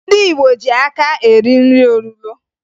Ndị Igbo ji aka eri nri olulo